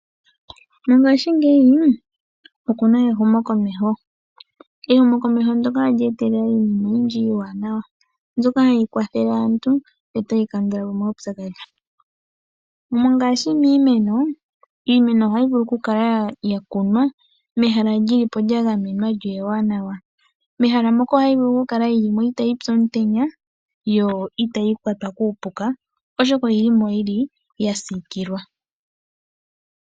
Mongashingeyi okuna ehumo komeho, ehumo komeho ndyoka olye etelele iinima iiwanawa hayi kwathele aantu yo otayi kandulapo omaupyakadhi. Mongashingeyi iimeno ohayi vulu kukunwa mehala lyagamenwa lyo ewanawa, itayipi omutenya yo itayi kwatwa kuupuka oshoka oyi limo yasiikilwa.